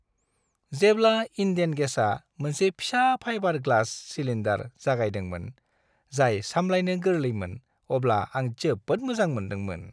जेब्ला इन्डेन गेसआ मोनसे फिसा फाइबार ग्लास सिलिन्डार जागायदोंमोन जाय सामलायनो गोरलैमोन अब्ला आं जोबोद मोजां मोनदोंमोन।